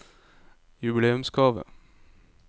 jubileumsgave